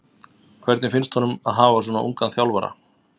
Hvernig finnst honum að hafa svona ungan þjálfara?